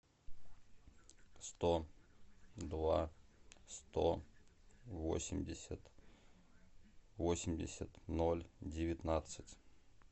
сто два сто восемьдесят восемьдесят ноль девятнадцать